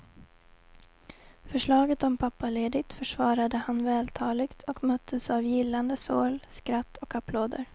Förslaget om pappaledigt försvarade han vältaligt och möttes av gillande sorl, skratt och applåder.